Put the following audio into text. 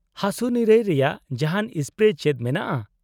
-ᱦᱟᱥᱩᱼᱱᱤᱨᱟᱹᱭ ᱨᱮᱭᱟᱜ ᱡᱟᱦᱟᱸᱱ ᱥᱯᱨᱮ ᱪᱮᱫ ᱢᱮᱱᱟᱜᱼᱟ ?